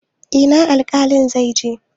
Ina alƙalin zai je?